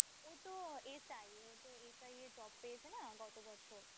ওতো SI ওতো SI এ job পেয়েছে না গত বছর।